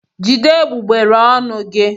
Jide egbugbere ọnụ gị!